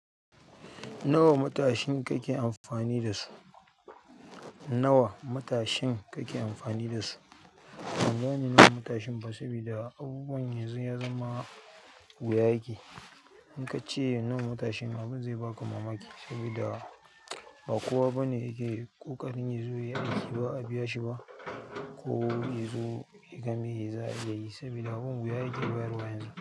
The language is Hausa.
Nawa matashin kake amfani da su? Nawa matashin kake amfani da su? Ban gane nawa matashin ba saboda abubuwan yanzu ya zama wuya yake. In ka ce nawa matashin, abin zai baka mamaki saboda ba kowa bane yake ƙoƙarin yazo yayi aiki ba'a biya shi ba ko yazo ya game ya yi saboda abun wuya ya ke bayarwa yanzu.